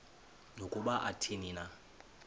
nokuba athini na